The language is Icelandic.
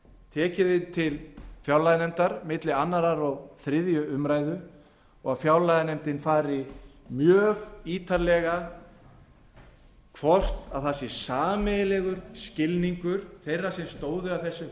tekið inn til fjárlaganefndar milli annars og þriðju umræðu og að fjárlaganefndin fari mjög ítarlega yfir hvort það sé sameiginlegur skilningur þeirra sem stóðu að þessum